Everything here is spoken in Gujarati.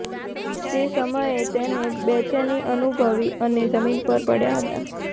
તે સમયે તેને બેચેની અનુભવી અને જમીન પર પડ્યા હતા